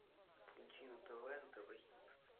включи на тв нтв хит